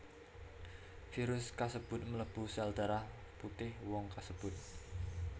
Virus kasebut mlebu sel darah putih wong kasebut